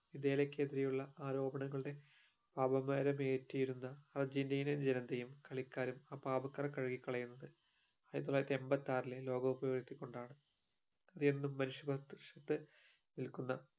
ഇതിലെക്കെതിരെയുള്ള ആരോപണങ്ങളുടെ അപമാനമേറ്റീരുന്ന അർജന്റീനിയൻ ജനതയും കളിക്കാരും ആ പാപകറ കഴുകിക്കളയുന്നത് ആയിരത്തി തൊള്ളായിരത്തി എമ്പത്തി ആറിലെ ലോക കപ്പ് വീഴ്ത്തിക്കൊണ്ടാണ് അതെന്നും മനുഷ്യ നിക്കുന്ന